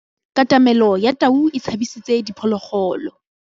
Katamêlô ya tau e tshabisitse diphôlôgôlô.